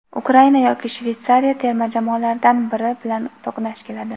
Ukraina yoki Shveytsariya terma jamoalaridan biri bilan to‘qnash keladi;.